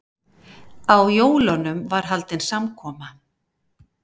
Á jólunum var haldin samkoma.